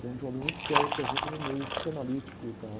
que é um problema muito sério, por exemplo, no meio psicanalítico e tal.